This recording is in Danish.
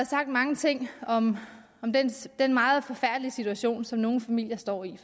sagt mange ting om den meget forfærdelige situation som nogle familier står i